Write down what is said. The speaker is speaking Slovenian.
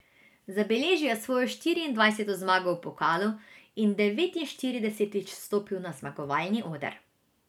Zabeležil je svojo štiriindvajseto zmago v pokalu in devetinštiridesetič stopil na zmagovalni oder.